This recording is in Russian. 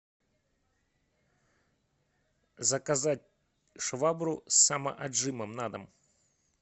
заказать швабру с самоотжимом на дом